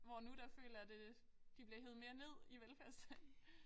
Hvor nu der føler jeg det de bliver hevet mere ned i velfærdsstaten